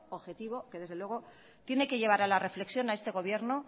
objetivo que desde luego tiene que llevar a la reflexión a este gobierno